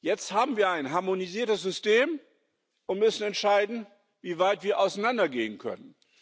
Jetzt haben wir ein harmonisiertes System und müssen entscheiden, wie weit wir auseinandergehen können.